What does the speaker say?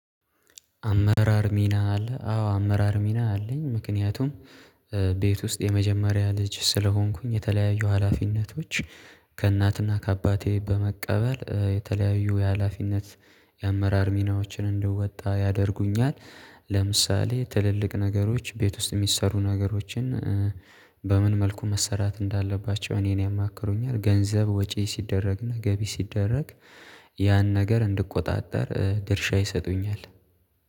አመራር ሚና አለ። አዎ አመራር ሚና አለኝ። ምክንያቱም ቤት ውስጥ የመጀመሪያ ልጅ ስለሆንኩኝ የተለያዩ ሀላፊነቶች ከእናትና ከአባቴ በመቀበል የተለያዩ የሀላፊነት የአመራር ሚናዎችን እንደወጣ ያደርጉኛል። ለምሳሌ ትልልቅ ነገሮች ቤት ውስጥ የሚሰሩ ነገሮችን በምን መልኩ መሰራት እንዳለባቸው እኔን ያማክሩኛል ገንዘብ ወጪ ሲደረግና ገቢ ሲደረግ ያን ነገር እንድቆጣጠር ድርሻ ይሰጡኛል